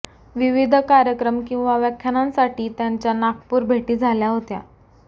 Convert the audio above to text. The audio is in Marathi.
विविध कार्यक्रम किंवा व्याख्यानांसाठी त्यांच्या नागपूर भेटी झाल्या होत्या